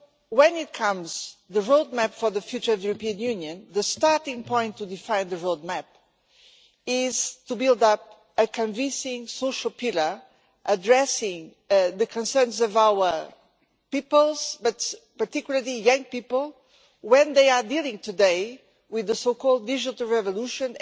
When it comes to the roadmap for the future of European Union, the starting point to define the roadmap is to build up a convincing social pillar addressing the concerns of our peoples, but particularly young people, when they are dealing today with the so called digital revolution'.